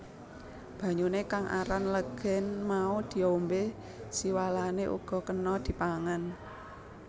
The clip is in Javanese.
Banyuné kang aran legèn mau diombé siwalané uga kéna dipangan